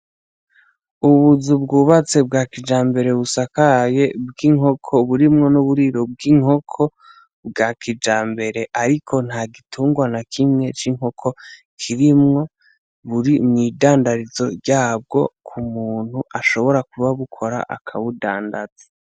Ubuzu bwubatse bwa kijambere busakaye bw'inkoko burimwo n'uburiro bw'inkoko bwakijambere ariko ntagitungwa n'akimwe c'inkoko kirimwo n'imwidandarizo ryabwo k'umuntu ashobora kuba abukora akabudandaza.